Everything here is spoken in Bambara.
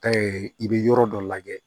i bɛ yɔrɔ dɔ lajɛ